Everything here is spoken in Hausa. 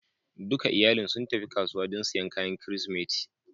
Dukan iyalin sun tafi kasuwa don siyan kayan Kirsimeti